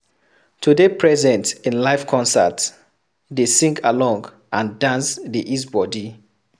to de present in Live concert, de sing along and dance de ease body